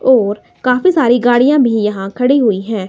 और काफी सारी गाड़ियां भी यहां खड़ी हुई हैं।